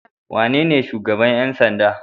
Wanene shugaban ƴan sanda?